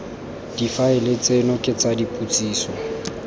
difaele tseno ke tsa dipotsiso